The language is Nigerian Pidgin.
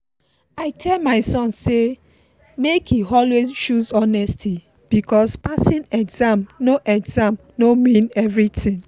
i tell my son say make e always choose honesty because passing exam no exam no mean everything.